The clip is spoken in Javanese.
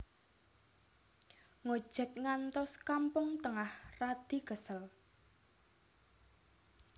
Ngojek ngantos Kampung Tengah radi kesel